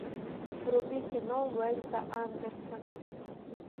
вруби кино уэйса андерсона